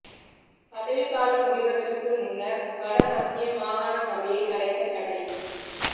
பதவி காலம் முடிவடைவதற்கு முன்னர் வட மத்திய மாகாண சபையை கலைக்க தடை